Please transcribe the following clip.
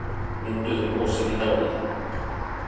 Mynduðu gosið í návígi